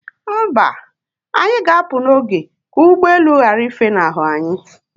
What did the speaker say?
Mba, anyi ga apụ n'oge ka ụgbọelu ghara ifenahu anyị